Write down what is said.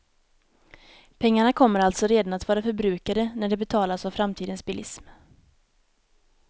Pengarna kommer alltså redan att vara förbrukade när de betalas av framtidens bilism.